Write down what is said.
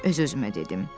Öz özümə dedim.